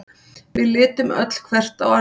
Við litum öll hvert á annað.